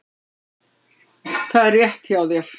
Það er rétt hjá þér.